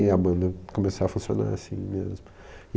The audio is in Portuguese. E a banda começou a funcionar assim mesmo.